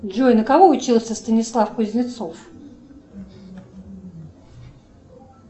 джой на кого учился станислав кузнецов